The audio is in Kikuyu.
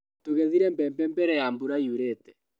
Tũgethire mbembe mbere ya mbura yurĩte.